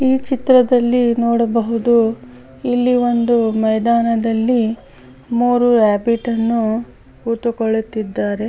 ಈ ಚಿತ್ರದಲ್ಲಿ ನೋಡಬೋದು ಇಲ್ಲಿ ಒಂದು ಮೈದಾನದಲ್ಲಿ ಮೂರು ರಾಬಿಟ್ ಅನ್ನು ಕುತುಕೊಳ್ಳುತಿದ್ದಾರೆ.